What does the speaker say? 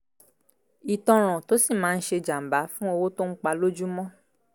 ìtanràn tó sì máa ń ṣe jàǹbá fún owó tó ń pa lójúmọ́